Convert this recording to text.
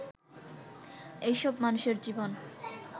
এসব মানুষের জীবন